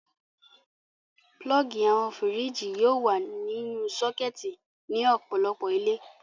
Pulọ́ọ́gì àwọn fíríjì yóò wà nínú sọ́kẹ́tì ní ọ̀pọ̀lọpọ̀ ilé.